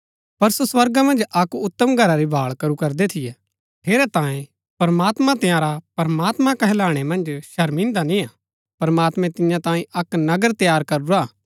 पर सो स्वर्गा मन्ज अक्क उतम घरा री भाळ करू करदै थियै ठेरैतांये प्रमात्मां तंयारा प्रमात्मां कहलाणै मन्ज शर्मान्दा निय्आ प्रमात्मैं तियां तांई अक्क नगर तैयार करूरा हा